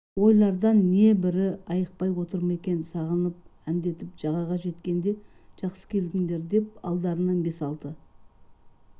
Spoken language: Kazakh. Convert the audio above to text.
ойлардан небірі айықпай отыр ма екен сағынып әндетіп жағаға жеткенде жақсы келдіңдер деп алдарынан бес-алты